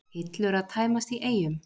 Hillur að tæmast í Eyjum